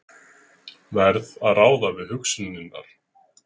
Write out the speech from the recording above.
Verð að ráða við hugsanirnar.